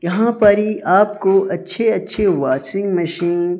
यहां पर ये आपको अच्छे अच्छे वाशिंग मशीन --